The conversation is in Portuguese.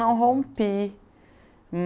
não rompi.